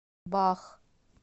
бах